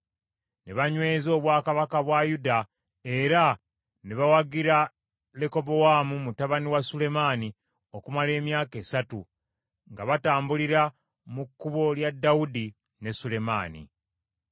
Ne banyweza obwakabaka bwa Yuda, era ne bawagira Lekobowaamu mutabani wa Sulemaani okumala emyaka esatu, nga batambulira mu kkubo lya Dawudi ne Sulemaani.